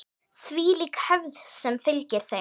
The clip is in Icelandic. Þvílík hefð sem fylgir þeim.